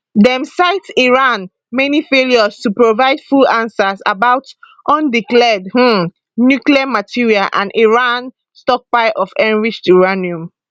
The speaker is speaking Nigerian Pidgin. dem cite iran many failures to provide full answers about undeclared um nuclear material and iran stockpile of enriched uranium